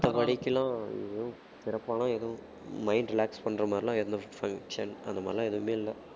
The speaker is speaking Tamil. மத்தப்படிக்கலாம் ஏதும் சிறப்பான ஏதும் mind relax பண்ற மாதிரி எல்லாம் எந்த function அந்த மாதிரி எல்லாம் எதுவுமே இல்லை